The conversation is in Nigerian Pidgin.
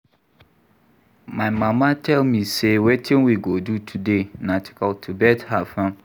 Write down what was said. My mama tell me say wetin we go do today na to cultivate her farm